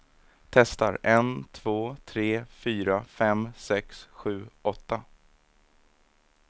Testar en två tre fyra fem sex sju åtta.